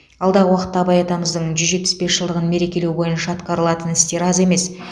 алдағы уақытта абай атамыздың жүз жетпіс бес жылдығын мерекелеу бойынша атқарылатын істер аз емес